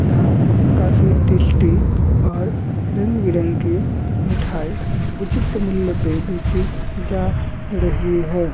यहाँ काफी टेस्टी और रंग-बिरंगी मिठाई उचित मूल्य पे बेची जा रही है।